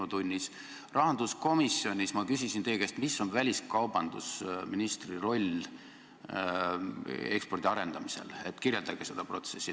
Ma küsisin rahanduskomisjonis teie käest, mis on väliskaubandusministri roll ekspordi arendamisel, kirjeldage seda protsessi.